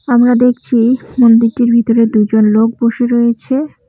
আমরা দেখছি মন্দিরটির ভিতরে দুজন লোক বসে রয়েছে।